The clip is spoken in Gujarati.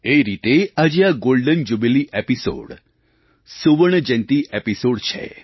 એ રીતે આજે આ ગૉલ્ડન જ્યુબિલી એપિસોડ સુવર્ણ જયંતી એપિસૉડ છે